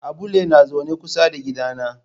Abulle na zaune kusa da gidana.